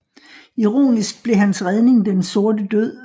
Ironisk blev hans redning den Sorte Død